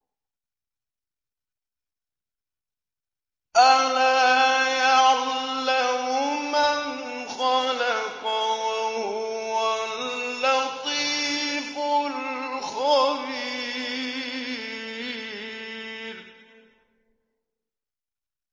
أَلَا يَعْلَمُ مَنْ خَلَقَ وَهُوَ اللَّطِيفُ الْخَبِيرُ